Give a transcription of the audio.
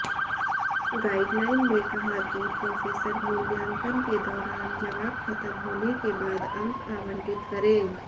guideline में कहाकि professor मूल्यांकन के दौरान जवाब खत्म होने के बाद अंक आवंटित करें